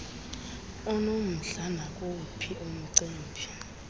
onomdla nakuwuphi umcimbi